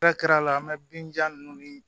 k'a la an bɛ binjan ninnu ni